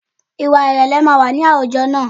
Ìwà ìrẹ̀lẹ̀ máa wà ní àwùjọ wa